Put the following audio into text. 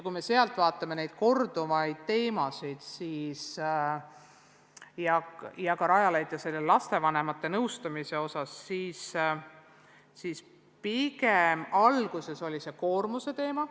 Kui me vaatame sealseid korduvaid teemasid – ka Rajaleidjas lastevanemate nõustamisega seoses –, siis näeme, et alguses oli üleval pigem koormuse teema.